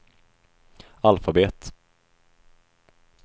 alfabet